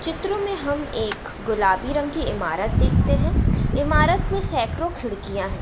चित्र में हम एक गुलाबी रंग की इमारत देखते हैं इमारत में सैकड़ों खिड़कियाँ हैं ।